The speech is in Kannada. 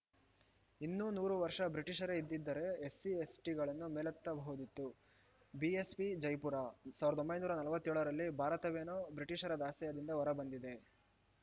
ಇನ್ನೂ ನೂರು ವರ್ಷ ಬ್ರಿಟಿಷರೇ ಇದ್ದಿದ್ರೆ ಎಸ್‌ಸಿ ಎಸ್ಟಿಗಳನ್ನು ಮೇಲೆತ್ತಬಹುದಿತ್ತು ಬಿಎಸ್‌ಪಿ ಜೈಪುರ ಸಾವಿರದ ಒಂಬೈನೂರ ನಲವತ್ಯೋಳರಲ್ಲಿ ಭಾರತವೇನೋ ಬ್ರಿಟಿಷರ ದಾಸ್ಯದಿಂದ ಹೊರಬಂದಿದೆ